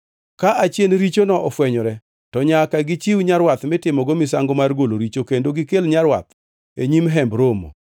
Ka achien richono ofwenyore, to nyaka gichiw nyarwath mitimogo misango mar golo richo, kendo gikel nyarwath e nyim Hemb Romo.